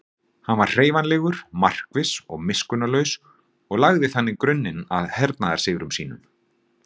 Hann var hreyfanlegur, markviss og miskunnarlaus og lagði þannig grunninn að hernaðarsigrum sínum.